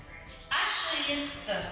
ашшы есікті